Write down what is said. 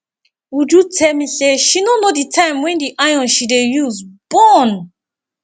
uju tell me say she no know the time wen the iron she dey use burn